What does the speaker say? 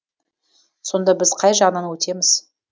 сонда біз қай жағынан өтеміз